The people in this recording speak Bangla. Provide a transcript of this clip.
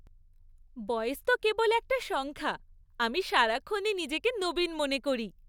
বয়স তো কেবল একটা সংখ্যা। আমি সারাক্ষণই নিজেকে নবীন মনে করি।